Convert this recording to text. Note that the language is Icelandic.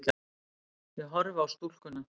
Ég horfi á stúlkuna.